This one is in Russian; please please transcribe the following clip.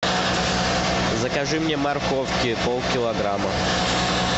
закажи мне морковки полкилограмма